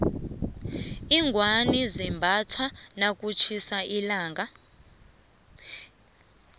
iingwani zimbathwa nakutjhisa ilanga